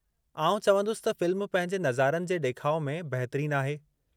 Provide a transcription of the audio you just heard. आउं चवंदुसि त फ़िल्म पंहिंजे नज़ारनि जे ॾेखाउ में बहितरीन आहे।